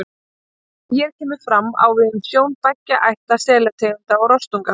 Það sem hér kemur fram, á við um sjón beggja ætta selategunda og rostunga.